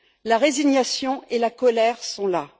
La résignation et la colère sont là.